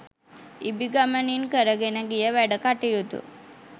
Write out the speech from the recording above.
ඉබි ගමනින් කරගෙන ගිය වැඩ කටයුතු